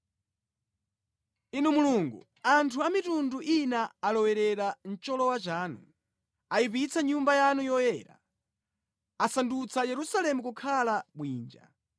Inu Mulungu, anthu a mitundu ina alowerera mʼcholowa chanu; ayipitsa Nyumba yanu yoyera, asandutsa Yerusalemu kukhala bwinja.